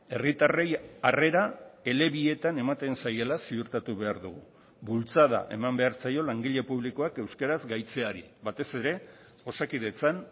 herritarrei harrera elebietan ematen zaiela ziurtatu behar dugu bultzada eman behar zaio langile publikoak euskaraz gaitzeari batez ere osakidetzan